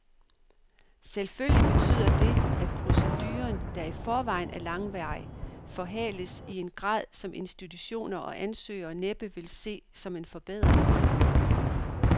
Selvfølgelig betyder det, at proceduren, der i forvejen er langvarig, forhales i en grad, som institutioner og ansøgere næppe vil se som en forbedring.